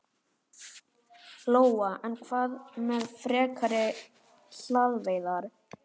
Lóa: En hvað með frekari hvalveiðar?